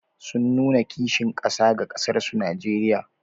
Sun nuna kishin ƙasa ga ƙasarsu Najeriya.